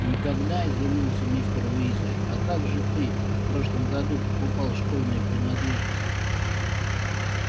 никогда изумился мистер уизли а как же ты в прошлом году покупал школьные принадлежности